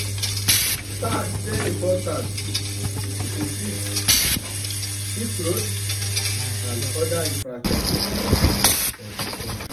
Tax dey important to fit fix road and oda infrastructure for di country